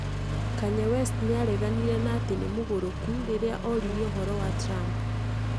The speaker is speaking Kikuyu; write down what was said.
Kanye West nĩ aareganire na atĩ nĩmugũrũku rĩrĩa oririo ũhoro wa Trump